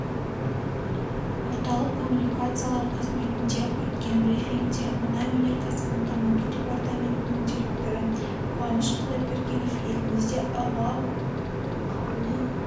мәліметіне сәйкес кешкі сауда-саттық көлемі миллион болды энергетика министрлігі еліміздегі авиакеросиннің тапшылығына қатысты түсініктеме берді деп